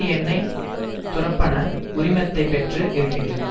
எண்ணெய் துறப்பண உரிமத்தை பெற்று இருக்கின்றன